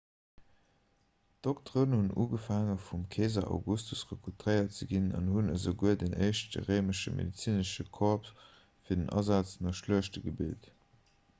d'dokteren hunn ugefaange vum keeser augustus rekrutéiert ze ginn an hunn esouguer den éischte réimesche medezinesche corps fir den asaz no schluechte gebilt